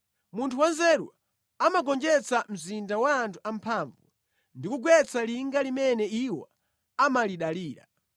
Munthu wanzeru amagonjetsa mzinda wa anthu amphamvu ndi kugwetsa linga limene iwo amalidalira.